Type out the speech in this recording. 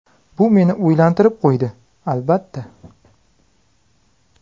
Bu meni o‘ylantirib qo‘ydi, albatta.